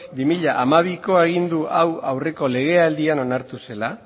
bi mila hamabiko agindu hau aurreko lege aldian onartu zela